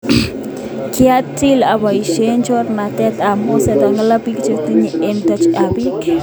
Kiatil abaisie choranet ab moset angalale biik chetobanisie amu u tagoch eng biik.